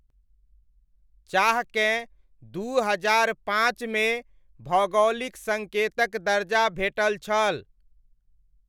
चाहकेँ दू हजार पांचमे भौगोलिक सङ्केतक दर्जा भेटल छल।